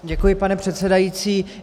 Děkuji pane předsedající.